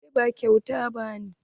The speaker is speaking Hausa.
Beli ba kyauta bane.